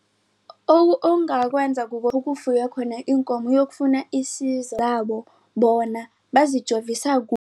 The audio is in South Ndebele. Okungakwenza kufuywe khona iinkomo uyokufuna zabo bona bazijovisa